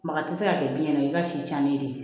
Maka tɛ se ka kɛ biyɛn na i ka si tiɲɛnen de